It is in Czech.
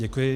Děkuji.